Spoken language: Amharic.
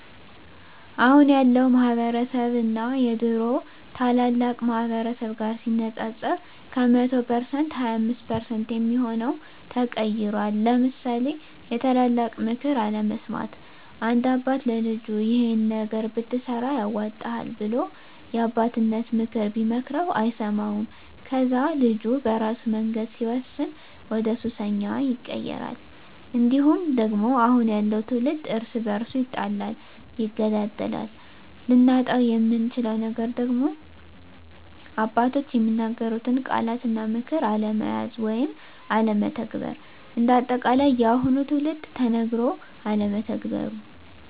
አሁን ያለው ማህበረስብ እና የድሮ ታላላቅ ማህበረሰብ ጋር ሲነፃፀር ከ100% 25% የሚሆው ተቀይሯል ለምሳሌ የታላላቅ ምክር አለመስማት፦ አንድ አባት ለልጁ ይሄን ነገር ብትሰራ ያዋጣሀል ብሎ የአባቴነተን ምክር ቢመክረው አይሰማውም ከዛ ልጁ በራሱ መንገድ ሲወስን ወደሱሰኛ ይቀየራል። እንዲሁም ደግሞ አሁን ያለው ትውልድ እርስ በርሱ ይጣላል ይገዳደላል። ልናጣው የምንችለው ነገር ደግሞ አባቶች የሚናገሩትን ቃላት እና ምክር አለመያዝ ወይም አለመተግበር። እንደ አጠቃላይ የአሁኑ ትውልድ ተነገሮ አለመተግበሩ